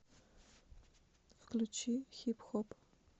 включи хип хоп